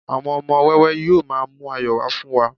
àwọn ọmọ wẹwẹ yíò ma mu ayọ wa fún wa